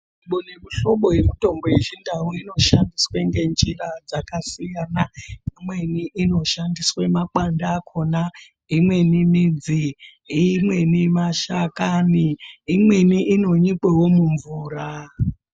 Muhlobo nemuhlobo yemutombo yechindau inoshandiswe ngenjira dzakasiyana imweni inoshandiswe makwande akona imweni midzi imweni mashakani imweni inonyikwawo mumvura.